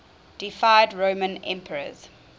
deified roman emperors